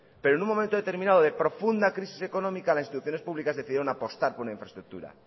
pero en un momento determinado de profunda crisis económica las instituciones públicas decidieron apostar por una infraestructura